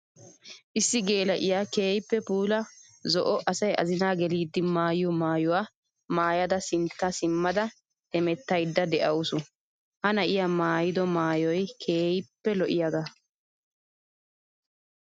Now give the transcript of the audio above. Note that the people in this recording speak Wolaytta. Issi geela'iya keehippe puula zo'o asay azinna gelidde maayiyo maayuwa maayadda sintta simada hemettayidde de'awussu. Ha na'iya maayiddo maayoy keehippe lo'iyaaga.